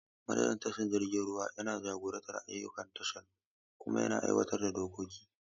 Manajan tashar jiragen ruwa yana jagorantar duk ayyukan tashar kuma yana aiwatar da dokoki.